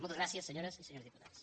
moltes gràcies senyores i senyors diputats